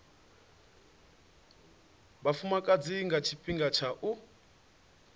vhafumakadzi nga tshifhinga tsha u